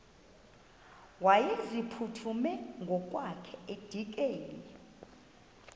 wayeziphuthume ngokwakhe edikeni